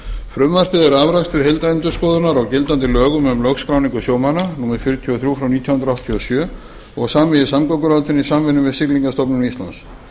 frumvarpið er afrakstur heildarendurskoðunar á gildandi lögum um lögskráningu sjómanna númer fjörutíu og þrjú nítján hundruð áttatíu og sjö og samið í samgönguráðuneytinu í samvinnu við siglingastofnun íslands